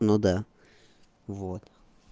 ну да вот